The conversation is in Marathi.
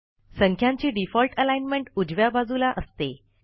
संख्यांची डिफॉल्ट अलाईनमेंट उजव्या बाजूला असते